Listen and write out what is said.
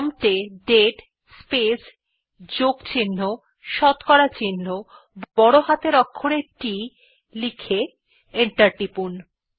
prompt এ দাতে space যোগ চিহ্ন শতকরা চিহ্ন বড় হাতের অক্ষরে T লিখে এন্টার টিপুন